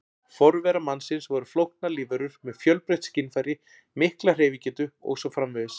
Forverar mannsins voru flóknar lífverur með fjölbreytt skynfæri, mikla hreyfigetu og svo framvegis.